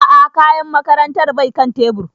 A'a kayan makarantar bai kan tebur